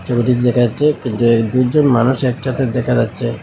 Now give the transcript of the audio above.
ছবিটিতে দেখা যাচ্ছে যে এক দুইজন মানুষ একছাতে দেখা যাচ্ছে।